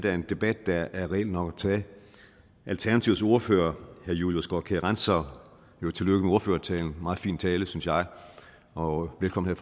er en debat der er reel nok at tage alternativets ordfører herre julius graakjær grantzau tillykke med ordførertalen meget fin tale synes jeg og velkommen